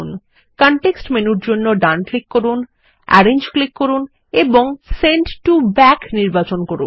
context মেনুর জন্য ডান ক্লিক করুন আরেঞ্জ ক্লিক করুন এবং সেন্ড টো ব্যাক নির্বাচন করুন